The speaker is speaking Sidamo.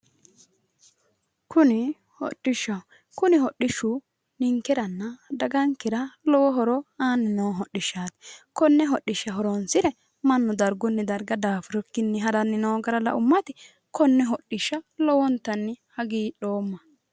kuni hodhishshaho kuni hodhishshu ninkeranna dagankera lowo horo aanni noo hodhishshaati konne hodhishsha horoonsire mannu dargunni darga daafurikkinni haranni noo gara laummati konne hodhishsha lowontanni hagiidhoomma.